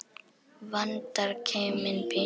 Vandar keiminn pínu.